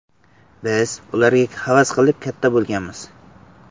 Biz ularga havas qilib, katta bo‘lganmiz.